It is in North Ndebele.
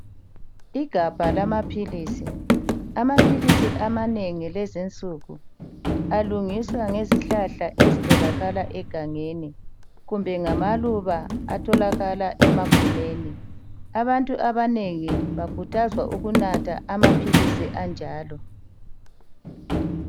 Igabha lamaphilisi. Amaphilisi amanengi lezinsuku alungiswa ngezihlahla ezitholakala egangeni kumbe ngamaluba atholakala emagumeni. Abantu abanengi bakhuthazwa ukunatha amaphilisi anjalo.